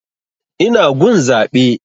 Ina gun zaɓe